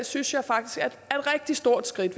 synes jeg faktisk er et rigtig stort skridt